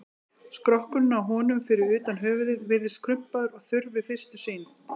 Skrokkurinn á honum, fyrir utan höfuðið, virðist krumpaður og þurr við fyrstu sýn.